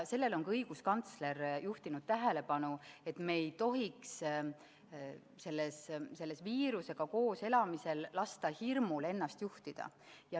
Sellele on ka õiguskantsler juhtinud tähelepanu, et me ei tohiks viirusega koos elades lasta hirmul ennast juhtida.